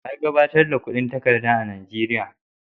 Wa ya gabatar da kudin takarda a Nigeria?